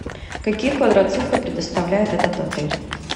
какие квадроциклы предоставляет этот отель